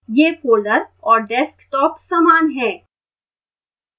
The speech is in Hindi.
यह folder और desktop समान हैं